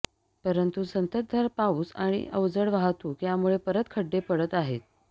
परंतू संततधार पाऊस आणि अवजड वाहतूक यामुळे परत खड्डे पडत आहेत